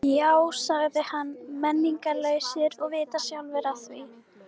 Já sagði ég, menningarlausir og vita sjálfir af því.